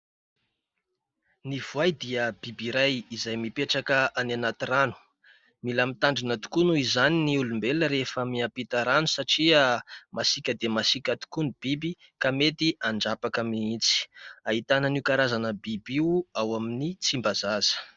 Ny voay dia biby iray izay mipetraka any anaty rano. Mila mitandrina tokoa noho izany ny olombelona rehefa miampita rano satria masiaka dia masiaka tokoa ny biby, ka mety handrapaka mihitsy. Ahitana an'io karazana biby io ao amin'ny Tsimbazaza.